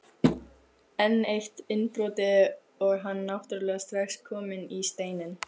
Enn eitt innbrotið og hann náttúrulega strax kominn í Steininn.